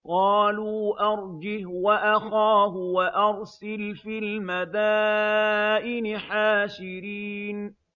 قَالُوا أَرْجِهْ وَأَخَاهُ وَأَرْسِلْ فِي الْمَدَائِنِ حَاشِرِينَ